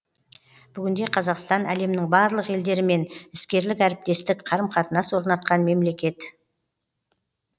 бүгінде қазақстан әлемнің барлық елдерімен іскерлік әріптестік қарым қатынас орнатқан мемлекет